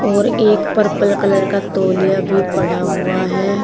और एक purple colour का तौलिया भी पड़ा हुआ है।